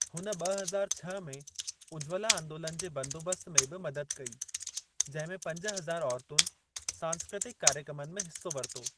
हुन ॿ हज़ार छह में उज्ज्वला आंदोलन जे बंदोबस्त में भी मदद कई, जंहिंमें पंज हज़ार औरतुनि सांस्कृतिक कार्यक्रमनि में हिस्सो वरितो।